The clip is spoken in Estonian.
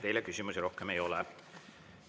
Teile küsimusi rohkem ei ole.